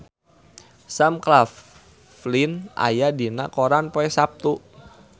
Sam Claflin aya dina koran poe Saptu